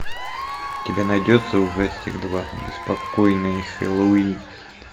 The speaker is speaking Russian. у тебя найдется ужастик два беспокойный хэллоуин